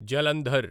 Jalandhar